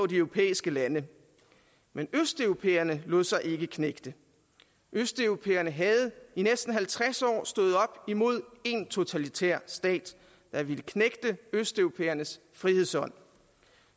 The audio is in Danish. de europæiske lande men østeuropæerne lod sig ikke knægte østeuropæerne havde i næsten halvtreds år stået op imod én totalitær stat der vil knægte østeuropæernes frihedsånd